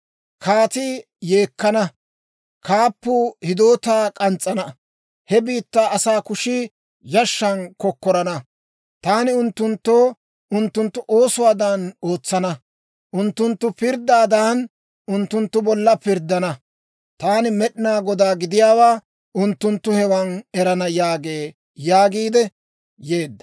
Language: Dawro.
Kaatii yeekkana; kaappuu hidootaa k'ans's'ana; he biittaa asaa kushii yashshan kokkorana. Taani unttunttoo unttunttu oosuwaadan ootsana; unttunttu pirddaadan, unttunttu bolla pirddana. Taani Med'inaa Godaa gidiyaawaa unttunttu hewan erana› yaagee» yaagiidde yeedda.